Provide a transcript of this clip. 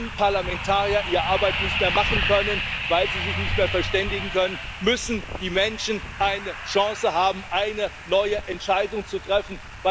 Wenn Parlamentarier ihre Arbeit nicht mehr machen können, weil sie sich nicht mehr verständigen können, müssen die Menschen eine Chance haben, eine neue Entscheidung zu treffen.